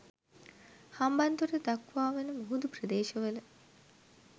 හම්බන්තොට දක්වා වන මුහුදු ප්‍රදේශවල